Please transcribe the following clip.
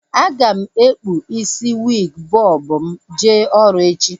A ga m ekpu isi wiig bọb m jee ọrụ echi